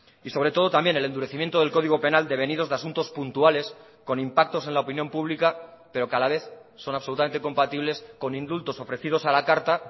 y sobre todo también el endurecimiento del código penal devenidos de asuntos puntuales con impactos en la opinión pública pero que a la vez son absolutamente compatibles con indultos ofrecidos a la carta